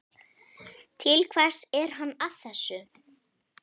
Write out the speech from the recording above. Til hvers er hann að þessu?